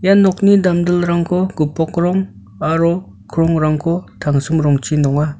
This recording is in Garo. ia nokni damdilrangko gipok rong aro krongrangko tangsim rongchi nonga.